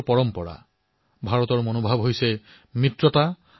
ভাৰতৰ ভাৱ হল বন্ধুত্ব